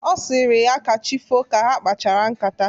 Ọ sịrị ya ka chi foo ka ha kpachara ṅkátá.